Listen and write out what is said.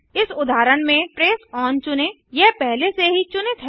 इस उदाहरण में ट्रेस ओन चुनें यह पहले से ही चुनित है